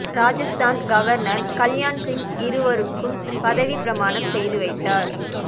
Rajasthan governor Kalyan Singh இருவருக்கும் பதவிப் பிரமாணம் செய்து வைத்தார்